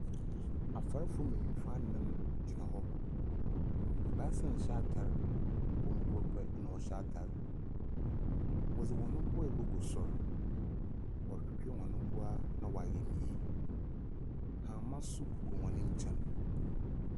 Afarefo mbenyinfo anan gyina hɔ. Basaa nhyɛ atare. Wɔn mu koro pɛ ɛna ɔhyɛ atare. Wɔde wɔn ho bo egu soro. Wɔtwetwe wɔn mboa na woayɛ no yie. Hama so gugu wɔn nkyɛn.